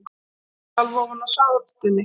Hún sjálf ofan á sátunni.